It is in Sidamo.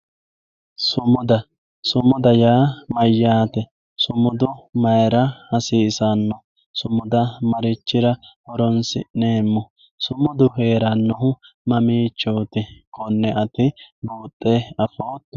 Sumuda, sumuda yaa mayyaate? Sumudu mayira hasiisanno? Sumuda marichira horoonsi'neemmo? Sumudu heerannohu mamiichooti? Konne ati buuxxe afootto?